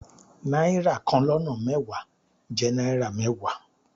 Náírà kan lọ́nà mẹ́wàá jẹ́ náírà mẹ́wàá.